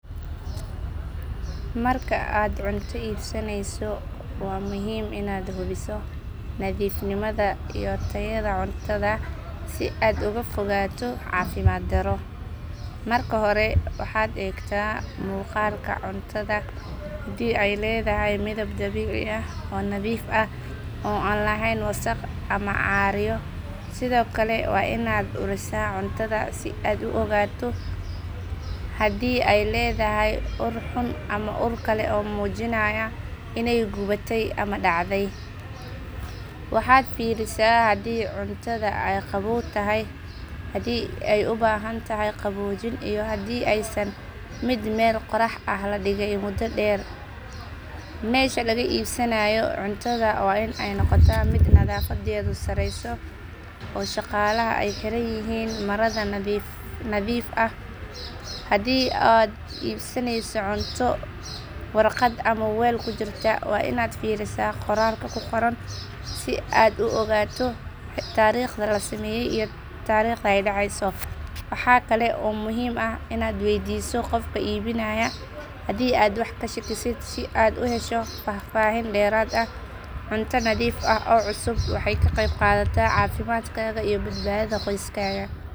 Marka aad cunto iibsaneyso waa muhiim inaad hubiso nadiifnimada iyo tayada cuntada si aad uga fogaato caafimaad darro. Marka hore waxaad eegtaa muuqaalka cuntada haddii ay leedahay midab dabiici ah oo nadiif ah oo aan lahayn wasakh ama caaryo. Sidoo kale waa inaad urisaa cuntada si aad u ogaato haddii ay leedahay ur xun ama ur kale oo muujinaya inay gubatay ama dhacday. Waxaad fiirisaa haddii cuntada ay qabow tahay haddii ay u baahan tahay qaboojin iyo haddii aysan ahayn mid meel qorrax ah la dhigay muddo dheer. Meesha laga iibsanayo cuntada waa inay noqotaa mid nadaafadeedu sareyso oo shaqaalaha ay xiranyihiin marada nadiifta ah. Haddii aad iibsanayso cunto warqad ama weel ku jirta waa inaad fiirisaa qoraalka ku qoran si aad u ogaato taariikhda la sameeyay iyo taariikhda ay dhacayso. Waxaa kale oo muhiim ah inaad weydiiso qofka iibinaya haddii aad wax ka shakisid si aad u hesho faahfaahin dheeraad ah. Cunto nadiif ah oo cusub waxay ka qayb qaadataa caafimaadkaaga iyo badbaadada qoyskaaga.